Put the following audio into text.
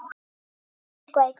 Ertu eitthvað í golfinu?